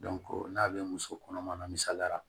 n'a bɛ muso kɔnɔma na misaliyara